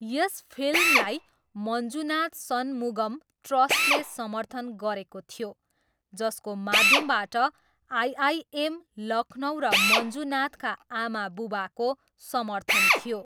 यस फिल्मलाई मन्जुनाथ सनमुगम ट्रस्टले समर्थन गरेको थियो जसको माध्यमबाट आइआइएम, लखनऊ र मञ्जुनाथका आमाबुबाको समर्थन थियो।